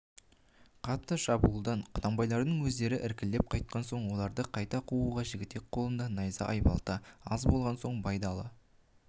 қатты шабуылдан құнанбайлардың өздері іркіліп қайтқан соң оларды қайта қууға жігітек қолында найза айбалта аз болған соң байдалы